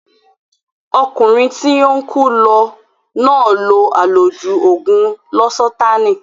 Ọkùnrin tí ó ń kú lọ náà lo àlòjù ògùn lósátáànì